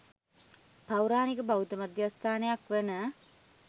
පෞරාණික බෞද්ධ මධ්‍යස්ථානයක් වන